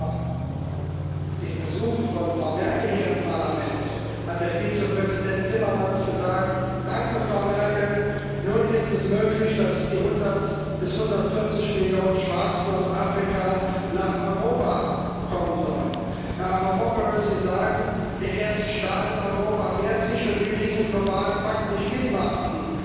Vor dem Besuch von Frau Merkel hier im Parlament hat Herr Vizepräsident Timmermans gesagt Danke, Frau Merkel, nun ist es möglich, dass die 100 bis 140 Millionen Schwarzen aus Afrika nach Europa kommen sollen. Herr Avramopoulos, Sie sagen Der erste Staat in Europa wehrt sich und will diesen globalen Pakt nicht mitmachen.